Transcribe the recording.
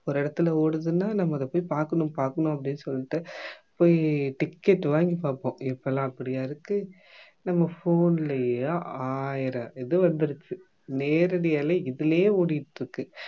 ஒரு இடத்துல ஓடுதுன்னா நம்ம அத போய் பாக்கணும் பாக்கணும் அப்படின்னு சொல்லிட்டு போயி ticket வாங்கி பாப்போம் இப்பெல்லாம் அப்படியா இருக்கு நம்ம phone லயே ஆயிரம் இது வந்துருச்சு நேரடியாவே இதுலயே ஓடிகிட்டிருக்கு